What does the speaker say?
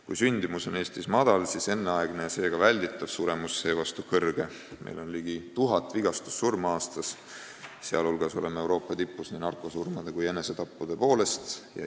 Kui sündimus on Eestis madal, siis enneaegne, seega välditav suremus seevastu kõrge – meil on ligi 1000 vigastussurma aastas, sh oleme Euroopa tipus nii narkosurmade kui enesetappude poolest.